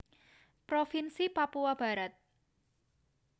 Provinsi Papua Barat